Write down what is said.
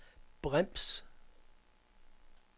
brems